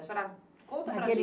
A senhora conta para a gente.